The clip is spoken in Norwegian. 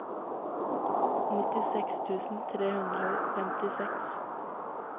nittiseks tusen tre hundre og femtiseks